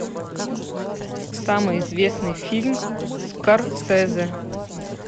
самый известный фильм скорсезе